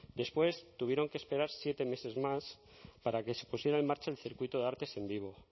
después tuvieron que esperar siete meses más para que se pusiera en marcha el circuito de artes en vivo